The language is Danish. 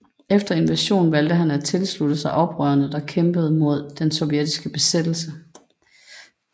Efter invasionen valgte han at tilslutte sig til oprørene der kæmpede mod den sovjetiske besættelse